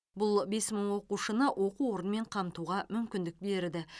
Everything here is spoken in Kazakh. бұл бес мың оқушыны оқу орнымен қамтуға мүмкіндік берді